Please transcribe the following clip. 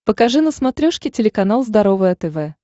покажи на смотрешке телеканал здоровое тв